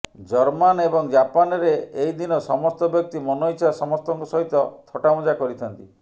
German ଏବଂ ଜାପାନରେ ଏହି ଦିନ ସମସ୍ତ ବ୍ୟକ୍ତି ମନଇଛା ସମସ୍ତଙ୍କ ସହିତ ଥଟ୍ଟାମଜା କରିଥାନ୍ତି